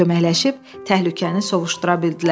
Köməkləşib təhlükəni sovuşdura bildilər.